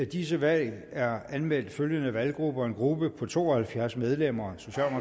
disse valg er anmeldt følgende valggrupper en gruppe på to og halvfems medlemmer